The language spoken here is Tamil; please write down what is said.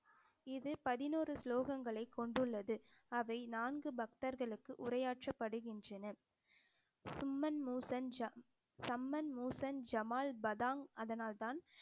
இது பதினோரு ஸ்லோகங்களை கொண்டுள்ளது அவை நான்கு பக்தர்களுக்கு உரையாற்றப்படுகின்றன சிம்மன் மூசன்ஜா, சம்மன் மூஸன் ஜமால் பதாங் அதனால்தான்